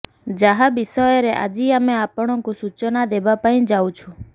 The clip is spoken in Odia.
ଯାହା ବିଷୟରେ ଆଜି ଆମେ ଆପଣଙ୍କୁ ସୂଚନା ଦେବାପାଇଁ ଯାଉଛୁ